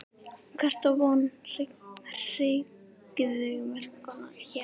Hver á von á hryðjuverkaógn hér?